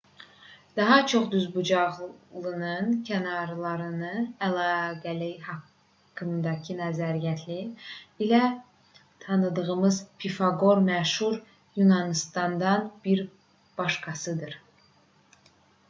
daha çox düzbucaqlının kənarlarının əlaqələri haqqındakı nəzəriyyələri ilə tanıdığımız pifaqor məşhur yunanlılardan bir başqasıdır